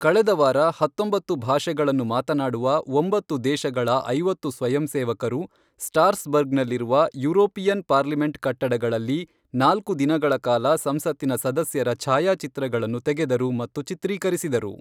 ಕಳೆದ ವಾರ ಹತ್ತೊಂಬತ್ತು ಭಾಷೆಗಳನ್ನು ಮಾತನಾಡುವ ಒಂಬತ್ತು ದೇಶಗಳ ಐವತ್ತು ಸ್ವಯಂಸೇವಕರು, ಸ್ಟಾರ್ಸ್ ಬರ್ಗ್ನಲ್ಲಿರುವ ಯುರೋಪಿಯನ್ ಪಾರ್ಲಿಮೆಂಟ್ ಕಟ್ಟಡಗಳಲ್ಲಿ ನಾಲ್ಕು ದಿನಗಳ ಕಾಲ ಸಂಸತ್ತಿನ ಸದಸ್ಯರ ಛಾಯಾಚಿತ್ರಗಳನ್ನು ತೆಗೆದರು ಮತ್ತು ಚಿತ್ರೀಕರಿಸಿದರು.